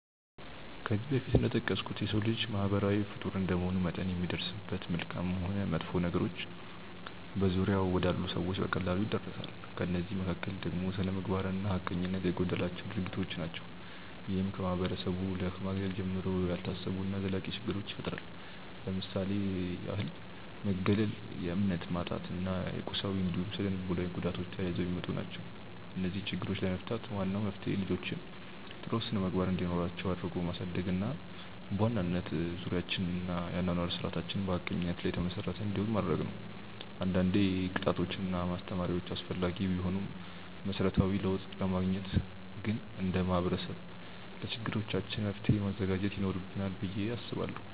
ከዚህ በፊት እንደጠቀስኩት የሰው ልጅ ማህበራዊ ፍጡር እንደመሆኑ መጠን የሚደርስበት መልካምም ሆን መጥፎ ነገሮች በዙሪያው ወዳሉ ሰዎች በቀላሉ ይዳረሳል። ከእነዚህ መካከል ደግሞ ስነምግባር እና ሀቀኝነት የጎደላቸው ድርጊቶች ናቸው። ይህም ከማህበረሰቡ ከማግለል ጀምሮ፣ ያልታሰቡ እና ዘላቂ ችግሮችን ይፈጥራል። ለምሳሌ ያህል መገለል፣ የእምነት ማጣት እና የቁሳዊ እንዲሁም ስነልቦናዊ ጉዳቶች ተያይዘው የሚመጡ ናቸው። እነዚህን ችግሮች ለመፍታት ዋናው መፍትሄ ልጆችን ጥሩ ስነምግባር እንዲኖራቸው አድርጎ ማሳደግ እና በዋናነት ዙሪያችንን እና የአኗኗር ስርዓታችንን በሀቀኝነት ላይ የተመሰረተ እንዲሆን ማድረግ ነው። አንዳንዴ ቅጣቶች እና ማስተማሪያዎች አስፈላጊ ቢሆኑም መሰረታዊ ለውጥ ለማግኘት ግን እንደ ማህበረሰብ ለችግሮቻችን መፍትሔ ማዘጋጀት ይኖርብናል ብዬ አስባለሁ።